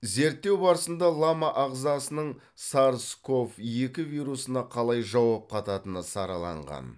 зерттеу барысында лама ағзасының сарс ков екі вирусына қалай жауап қататыны сараланған